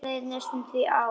Það leið næstum því ár.